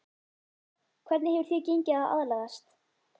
Hvernig hefur þér gengið að aðlagast?